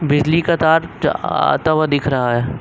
बिजली का तार जा आता हुआ दिख रहा है।